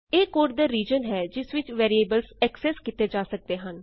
ਇਹ ਕੋਡ ਦਾ ਰਿਜ਼ਨ ਹੈ ਜਿਸ ਵਿਚ ਵੈਰੀਏਬਲ ਅਕਸੈਸ ਕੀਤੇ ਜਾ ਸਕਦੇ ਹਨ